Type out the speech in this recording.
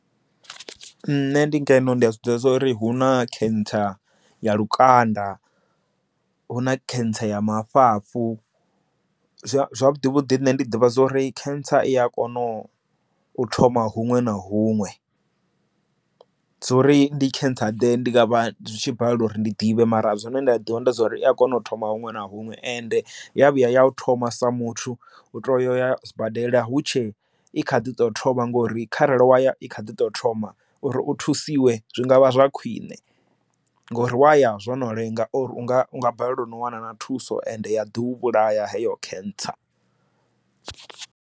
Nṋe ndi ngeno ndi a zwiḓivha zwori hu na cancer ya lukanda hu na cancer ya mafhafhu zwavhuḓi vhuḓi ndi nne ndi ḓivha zwori cancer i a kona u thoma huṅwe na huṅwe zwo uri ndi cancer ḓe ndi nga vha tshi balela uri ndi ḓivhe mara zwine nda a ḓivha ndi dza uri i a kona u thoma huṅwe na huṅwe ende ya vhuya ya u thoma sa muthu u tou ya zwibadela hutshe i kha ḓi tou thoma uri kharali waya i kha ḓi tou thoma uri u thusiwe zwi ngavha zwa khwine ngori waya zwo no lenga unga unga balelwa no wana thuso ende ya ḓiu vhulaya heyo khentsa.